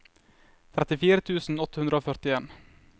trettifire tusen åtte hundre og førtien